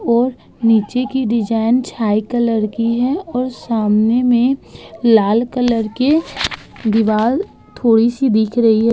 और नीचे की डिजाइन छाई कलर की है और सामने में और लाल कलर की दीवाल थोड़ी सी दिख रही है।